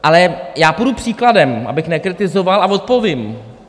Ale já půjdu příkladem, abych nekritizoval, a odpovím.